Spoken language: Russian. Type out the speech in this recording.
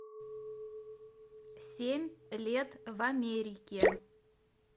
семь лет в америке